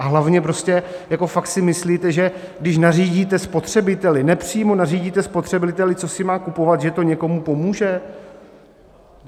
A hlavně, prostě jako fakt si myslíte, že když nařídíte spotřebiteli, nepřímo nařídíte spotřebiteli, co si má kupovat, že to někomu pomůže?